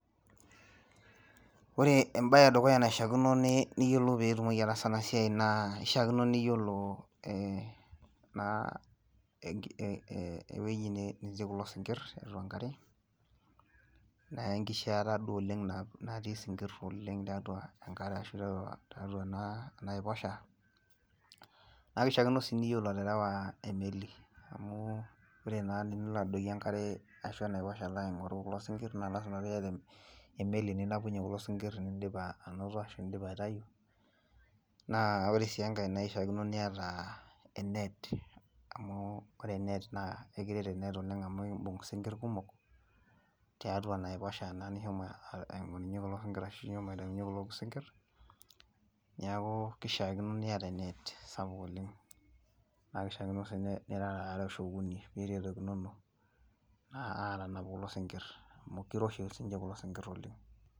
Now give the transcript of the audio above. Ore ebae edukuya naishaakino niyiolou peyie itumoki ataasa ena siai naa kishakino niyiolo ee naa ewueji netii kulo sinkir tiatua enkare naa enkishiata duo natii sinkir oleng, tiatua enkare ashu tiatua ena enaiposhaa naa kishakino sii niyiolo aterewa emeli, amu ore naa tenilo aadoiki, enkare ashu enaiposhaa nalo aing'oru kulo sinkir naa lasima pee iyata emeli ninapunye kulo sinkir tenidip anoto aitayu, naa ore sii enkae kishaakino niata e net amu ekiret oleng amu kishaakino nibung isinkir kumok, tiatua enaiposhaa naa nishomo aing'oruny kulo sinkir, naiku kishaakino niata e net sapuk, oleng, naa kishaakino sii nirara aare ashu okuni, niretokinono aatanap kulo sinkir amu kiroshi sii ninche kulo sinkir oleng.